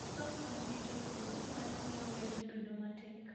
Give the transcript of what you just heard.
Koso kony ne jopur, mano miyo weche bedo matek.